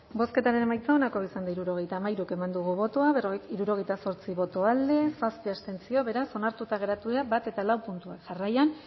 bozketaren emaitza onako izan da hirurogeita hamairu eman dugu bozka hirurogeita zortzi boto alde zazpi abstentzio beraz onartuta geratu dira batgarrena eta laugarrena puntuak jarraian